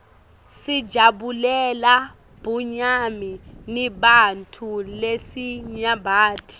sijabulela bunyani neebantfu lesinyabati